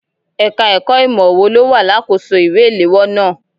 Ẹka ẹ̀kọ́ ìmọ wò ló wà lakoso ìwé iléwọ́ náà?